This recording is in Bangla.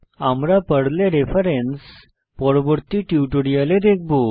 আমরা পর্লে রেফারেন্স পরবর্তী টিউটোরিয়ালে দেখব